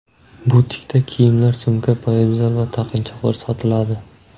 Butikda kiyimlar, sumka, poyabzal va taqinchoqlar sotiladi.